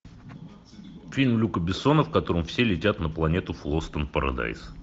фильм люка бессона в котором все летят на планету флостон парадайз